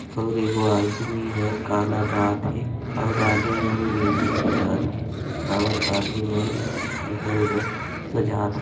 और एगो आदमी ह गाना गात हे और आदमी मन म्यूजिक बजात हे और आदमी मन इधर-उधर सजात --